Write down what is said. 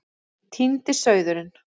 Týndi sauðurinn